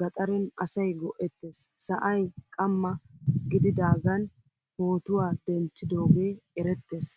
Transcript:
gaxaren asay go'ettees. Sa'ay qama gididagan pootuwaa denttidoge erettees.